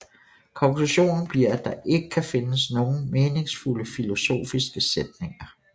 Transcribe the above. Konklusionen bliver at der ikke kan findes nogen meningsfulde filosofiske sætninger